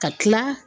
Ka tila